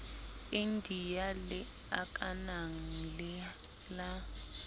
india le akanang le la